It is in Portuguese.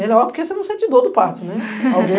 Melhor, porque você não sente dor do parto, né?